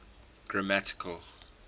grammatical